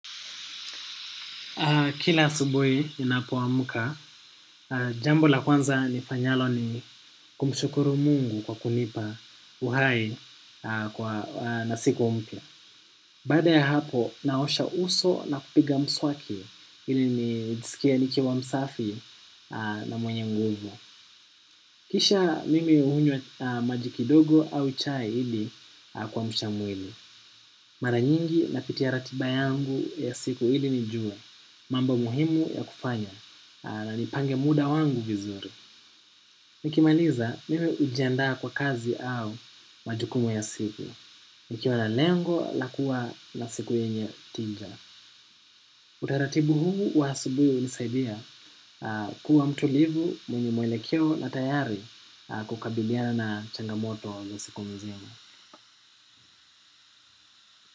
Kila asubuhi inapo wamuka, jambo la kwanza nifanyalo ni kumshukuru mungu kwa kunipa uhayi na siku mpia. Bada ya hapo, naosha uso na kupiga mswaki ili nijisikie nikiwa msafi na mwenye nguvu. Kisha mimi uhunywa maji kidogo au chai hili kwamsha mwili. Mara nyingi napitiya ratiba yangu ya siku hili nijue, mambo muhimu ya kufanya. Na nipange muda wangu vizuri. Nikimaliza mimi ujiandaa kwa kazi au majukumu ya siku. Nikiwa na lengo la kuwa na siku yenye tija. Utaratibu huu wa asubuhi unisaidia kuwa mtulivu mwenye mwelekeo na tayari kukabiliana na changamoto na siku mzima.